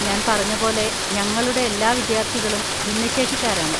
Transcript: ഞാൻ പറഞ്ഞപോലെ ഞങ്ങളുടെ എല്ലാ വിദ്യാർത്ഥികളും ഭിന്നശേഷിക്കാരാണ്.